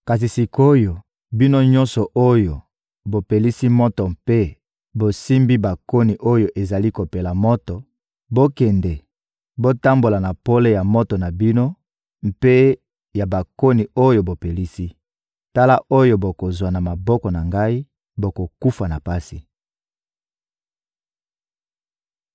Kasi sik’oyo, bino nyonso oyo bopelisi moto mpe bosimbi bakoni oyo ezali kopela moto, bokende, botambola na pole ya moto na bino mpe ya bakoni oyo bopelisi. Tala oyo bokozwa na maboko na ngai: Bokokufa na pasi!